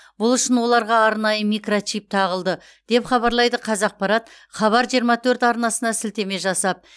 бұл үшін оларға арнайы микрочип тағылды деп хабарлайды қазақпарат хабар жиырма төрт арнасына сілтеме жасап